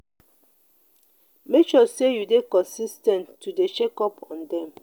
make sure say you de consis ten t to de check up on them